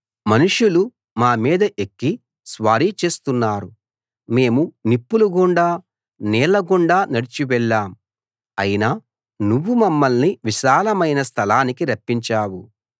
మనుషులు మా మీద ఎక్కి స్వారీ చేస్తున్నారు మేము నిప్పులగుండా నీళ్ళ గుండా నడిచి వెళ్ళాం అయినా నువ్వు మమ్మల్ని విశాలమైన స్థలానికి రప్పించావు